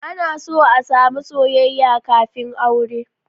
Ana so a sami soyayya kafin aure